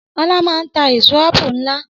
Ọlá maa ń tà èèso àpù nlá